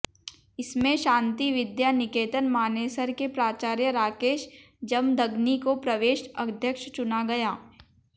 इसमें शांति विद्या निकेतन मानेसर के प्राचार्य राकेश जमदग्नि को प्रदेश अध्यक्ष चुना गया